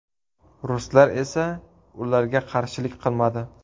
Ruslar esa ularga qarshilik qilmadi.